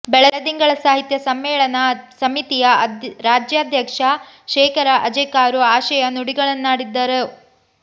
ಬೆಳದಿಂಗಳ ಸಾಹಿತ್ಯ ಸಮ್ಮೇಳನ ಸಮಿತಿಯ ರಾಜ್ಯಾಧ್ಯಕ್ಷ ಶೇಖರ ಅಜೆಕಾರು ಆಶಯ ನುಡಿಗಳನ್ನಾಡಿದರು